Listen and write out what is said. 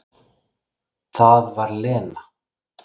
Það var Lena.